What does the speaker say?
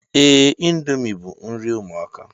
Ee, índomi bu nri ụmụaka